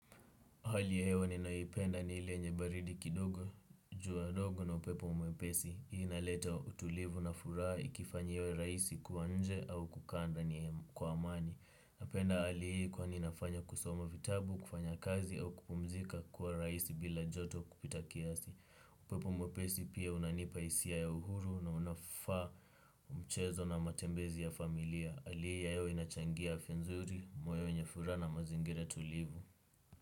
Hali ya hewa ninayoipenda ni ile yenye baridi kidogo, jua dogo na upepo mwepesi. Hii inaleta utulivu na furaha ikifanya iwe raisi kuwa nje au kukaa ndani kwa amani. Napenda hali hii kwa inafanya kusoma vitabu, kufanya kazi au kupumzika kuwa raisi bila joto kupita kiasi. Upepo mwepesi pia unanipa isia ya uhuru na unafaa mchezo na matembezi ya familia. Hali ii ya hewa inachangia afya nzuri, moyo wenye furaha na mazingira tulivu.